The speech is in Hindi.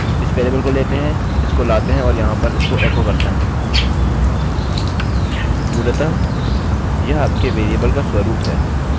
मूलतः यह आपके वेरिएबल का स्वरूप है यह कितने वेरिएबल्स लेता है और इस तरह से आप अपने फंक्शनfunction को कोडcode करते हैं